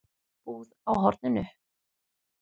Búð á horninu?